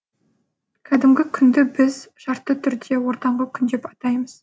кәдімгі күнді біз шартты түрде ортаңғы күн деп атаймыз